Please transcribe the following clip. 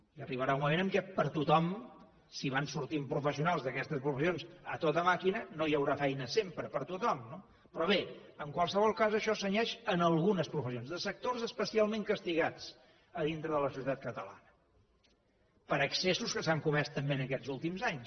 i arribarà un moment en què per a tothom si van sortint professionals d’aquestes professions a tota màquina no hi haurà feina sempre per a tothom no però bé en qualsevol cas això se cenyeix a algunes professions de sectors especialment castigats a dintre de la societat catalana per excessos que s’han comès també en aquests últims anys